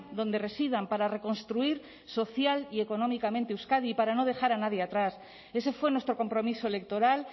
donde residan para reconstruir social y económicamente euskadi y para no dejar a nadie atrás ese fue nuestro compromiso electoral